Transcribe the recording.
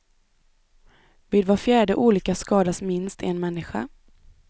Vid var fjärde olycka skadas minst en människa.